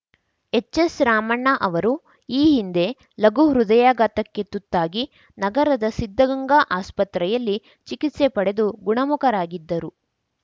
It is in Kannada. ಹೆಚ್ಎಸ್ ರಾಮಣ್ಣ ಅವರು ಈ ಹಿಂದೆ ಲಘು ಹೃದಯಾಘಾತಕ್ಕೆ ತುತ್ತಾಗಿ ನಗರದ ಸಿದ್ದಗಂಗಾ ಆಸ್ಪತ್ರೆಯಲ್ಲಿ ಚಿಕಿತ್ಸೆ ಪಡೆದು ಗುಣಮುಖರಾಗಿದ್ದರು